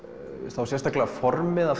þá sérstaklega formið